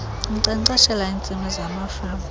inkcenkceshela iintsimi zamafama